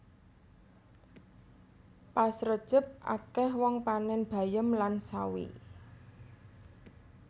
Pas rejeb akeh wong panen bayem lan sawi